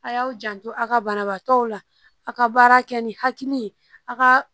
A y'aw janto a ka banabaatɔw la a ka baara kɛ ni hakili ye a ka